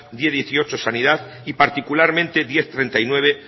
diez punto dieciocho sanidad y particularmente diez punto treinta y nueve